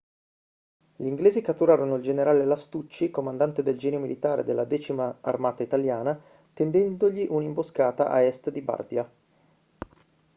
gli inglesi catturarono il generale lastucci comandante del genio militare della 10ª armata italiana tendendogli un'imboscata a est di bardia